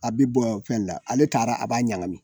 A bɛ bɔ fɛn la , ale taara, a b'a ɲagami.